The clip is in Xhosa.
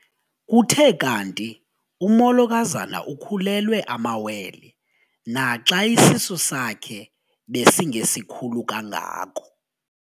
Kuthe kanti umolokazana ukhulelwe amawele naxa isisu sakhe besingesikhulu kangako.